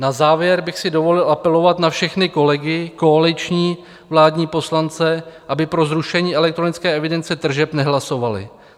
Na závěr bych si dovolil apelovat na všechny kolegy koaliční vládní poslance, aby pro zrušení elektronické evidence tržeb nehlasovali.